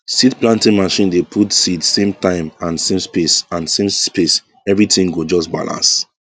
seed planting machine dey put seed same time and same space and same space everything go just balance